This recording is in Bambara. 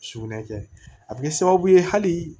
Sugunɛ kɛ a bɛ kɛ sababu ye hali